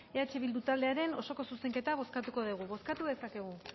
eh bildu taldearen osoko zuzenketa bozkatuko dugu bozkatu dezakegu